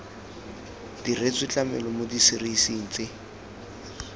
diretswe tlamelo mo diserising tse